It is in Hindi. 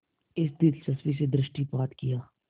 इस दिलचस्पी से दृष्टिपात किया